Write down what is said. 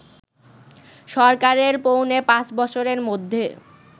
সরকারের পৌনে পাঁচ বছরের মধ্যে